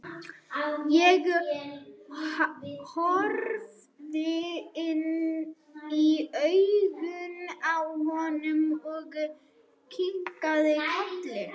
Ég horfði inn í augun á honum og kinkaði kolli.